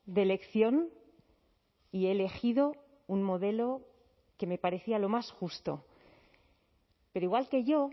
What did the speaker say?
de elección y he elegido un modelo que me parecía lo más justo pero igual que yo